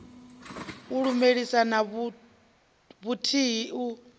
u lumelisa na vhuthihi u